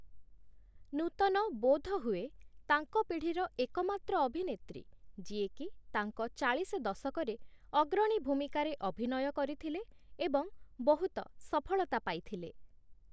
ନୂତନ ବୋଧହୁଏ ତାଙ୍କ ପିଢ଼ିର ଏକମାତ୍ର ଅଭିନେତ୍ରୀ ଯିଏକି ତାଙ୍କ ଚାଳିଶ ଦଶକରେ ଅଗ୍ରଣୀ ଭୂମିକାରେ ଅଭିନୟ କରିଥିଲେ ଏବଂ ବହୁତ ସଫଳତା ପାଇଥିଲେ ।